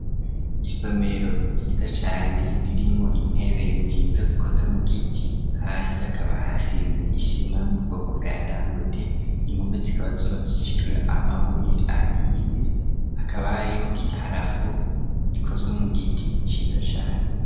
Isomero ryiza cane ririmwo intebe nziza zikoze mu giti hasi hakaba hasize isima yo mubwoko bwa dangwete, impome zikaba zubakishijwe amabuye ahiye akaba hariho i parafo rikozwe mu giti ciza cane.